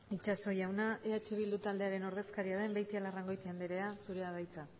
itxaso jauna eh bildu taldearen ordezkaria den beitialarrangoitia andrea zurea da hitza